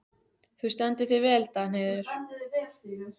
Þú stendur þig vel, Danheiður!